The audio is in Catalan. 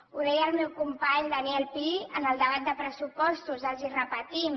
ho deia el meu company daniel pi en el debat de pressupostos els ho repetim